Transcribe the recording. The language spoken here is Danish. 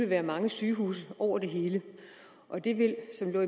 være mange sygehuse over det hele og det ville som der